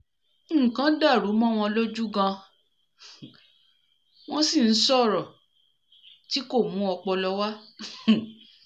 nnlkan dàrú mọ́ wọn lójú gan-an wọ̀n sì ń sọ̀rọ̀ tí kò mú ọpọlọ wá um